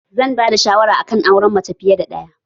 Zan ba da shawara akan auren mace fiye ɗaya